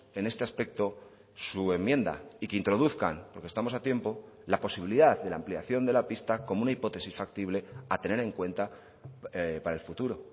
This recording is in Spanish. en este aspecto su enmienda y que introduzcan porque estamos a tiempo la posibilidad de la ampliación de la pista como una hipótesis factible a tener en cuenta para el futuro